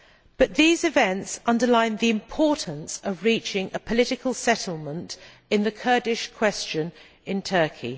But these events underline the importance of reaching a political settlement on the Kurdish question in Turkey.